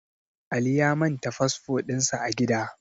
Ali ya manta fasfo din sa a gida